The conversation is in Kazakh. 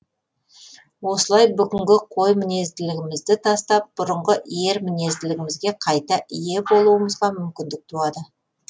осылай бүгінгі қой мінезділігімізді тастап бұрынғы ер мінезділігімізге қайта ие болуымызға мүмкіндік туады